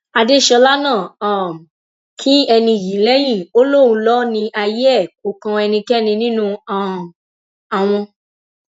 adéṣọlá náà um kín ẹni yìí lẹyìn ó lóun lọ ní ayé ẹ kó kan ẹnikẹni nínú um àwọn